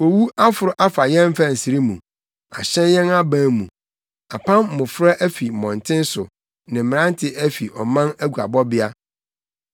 Owu aforo afa yɛn mfɛnsere mu ahyɛn yɛn aban mu; apam mmofra afi mmɔnten so ne mmerante afi ɔman aguabɔbea.